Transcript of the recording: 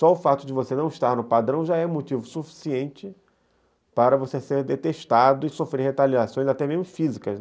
Só o fato de você não estar no padrão já é motivo suficiente para você ser detestado e sofrer retaliações, até mesmo físicas.